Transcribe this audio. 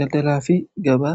daldalaa fi gabaa